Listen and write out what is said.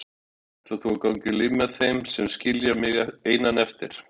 Ætlar þú að ganga í lið með þeim og skilja mig einan eftir?